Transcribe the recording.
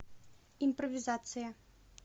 импровизация